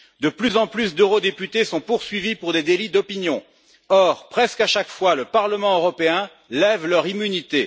De plus en plus d'eurodéputés sont poursuivis pour des délits d'opinion. Or, presque à chaque fois, le Parlement européen lève leur immunité.